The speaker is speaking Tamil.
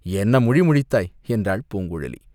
என்ன முழிமுழித்தாய்?" என்றாள் பூங்குழலி.